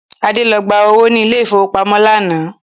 Adé lọ gba owó ni ilẹ̀ ìfowópamọ́ lánàá